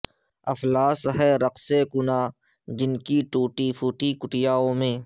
افلاس ہے رقص کناں جن کی ٹوٹی پھوٹی کٹیاوں میں